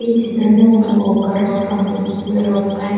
ఈ చిత్రంలో మనకి ఒక రోడ్డు కనిపిస్తుంది రోడ్డు పైన --